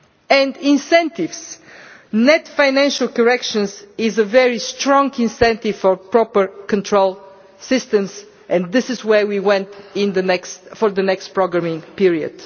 and incentives net financial correction is a very strong incentive for proper control systems, and this is where we want to be for the next programming period.